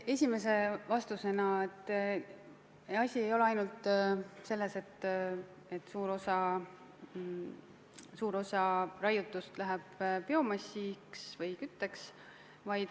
Esimese vastusena märgin, et asi ei ole ainult selles, et suur osa raiutust läheb biomassiks või kütteks.